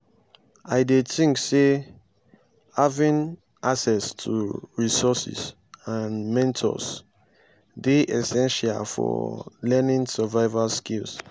i dey think say having access to resources and mentors dey essential for learning survival skills.